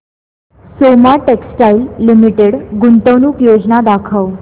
Soma textile limited गुंतवणूक योजना दाखव